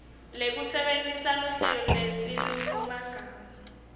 lekusebentisa luhlelo nesilulumagama